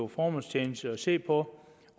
formålstjenligt at se på